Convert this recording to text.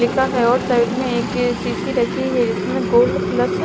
लिखा है और साइड में एक सीसी रखी है जिसमें गोल्ड प्लस .